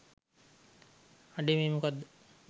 අඩේ මේ මොකක්ද